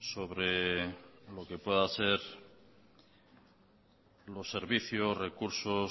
sobre lo que puedan ser los servicios recursos